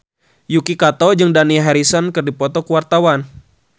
Yuki Kato jeung Dani Harrison keur dipoto ku wartawan